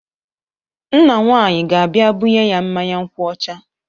Nna dị nwaanyị ga-abia bunye ya mmanya nkwụ ọcha.